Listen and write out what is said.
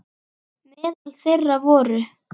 Meðal þeirra voru